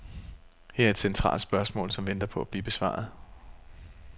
Her er et centralt spørgsmål, som venter på at blive besvaret.